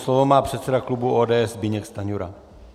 Slovo má předseda klubu ODS Zbyněk Stanjura.